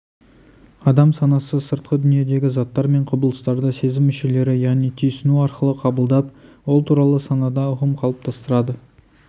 адам санасы сыртқы дүниедегі заттар мен құбылыстарды сезім мүшелері яғни түйсіну арқылы қабылдап ол туралы санада ұғым қалыптастырады